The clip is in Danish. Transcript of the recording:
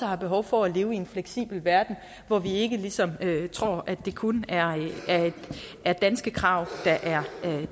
har behov for at leve i en fleksibel verden hvor vi ikke ligesom tror at det kun er danske krav